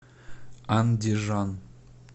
андижан